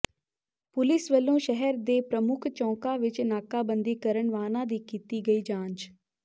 police ਵੱਲੋਂ ਸ਼ਹਿਰ ਦੇ ਪ੍ਰਮੁੱਖ ਚੌਕਾਂ ਵਿਚ ਨਾਕਾਬੰਦੀ ਕਰ ਵਾਹਨਾਂ ਦੀ ਕੀਤੀ ਗਈ ਜਾਂਚ